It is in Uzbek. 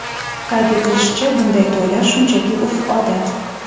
Qayd etilishicha, bunday to‘ylar shunchaki urf-odat.